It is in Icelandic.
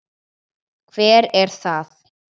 Hver er það?